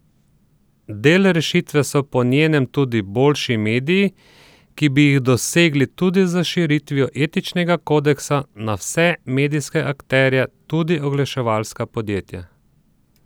Del rešitve so po njenem tudi boljši mediji, ki bi jih dosegli tudi s širitvijo etičnega kodeksa na vse medijske akterje, tudi oglaševalska podjetja.